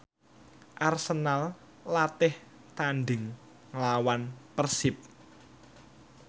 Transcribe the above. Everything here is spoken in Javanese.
Arsenal latih tandhing nglawan Persib